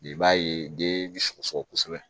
I b'a ye den bɛ sɔgɔsɔgɔ kosɛbɛ